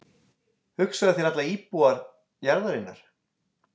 Hugsaðu þér alla íbúa jarðarinnar.